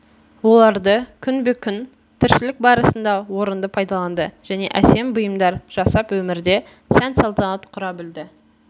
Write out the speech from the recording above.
оларды күнбе-күн тіршілік барысында орынды пайдаланды және әсем бұйымдар жасап өмірде сән-салтанат құра білді